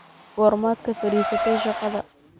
Goormaad ka fariisatay shaqada?